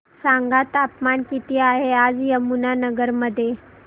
सांगा तापमान किती आहे आज यमुनानगर मध्ये